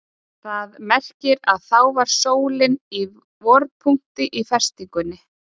Það merkir að þá var sólin í vorpunkti á festingunni.